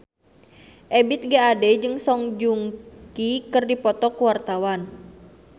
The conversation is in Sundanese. Ebith G. Ade jeung Song Joong Ki keur dipoto ku wartawan